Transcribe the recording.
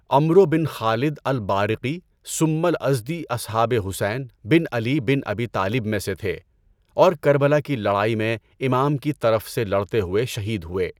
عَمرو بن خالد البارِقِي ثُمَّ الأزدي أصحابِ حسین بن علي بن أبي طالب میں سے تھے اور کربلا کی لڑائی میں امام کی طرف سے لڑتے ہوئے شہید ہوئے۔